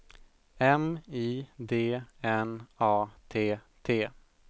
M I D N A T T